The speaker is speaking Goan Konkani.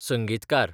संगीतकार